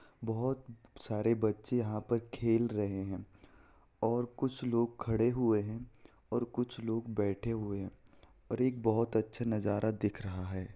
बहुत सारे बच्चे यहाँ पर खेल रहे हैं और कुछ लोग खड़े हुए हैं और कुछ लोग बैठे हुए हैं और एक बहुत अच्छा नज़ारा दिख रहा है।